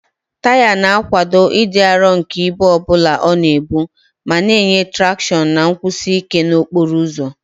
Taya na-akwado ịdị arọ nke ibu ọ bụla ọ na-ebu ma na-enye traction na nkwụsi ike n'okporo ụzọ.